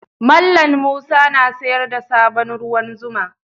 Mallam Musa na sayar da sabon ruwan zuma.